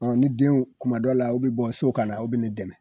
ni denw kuma dɔw la u bi bɔ so kana u be ne dɛmɛ.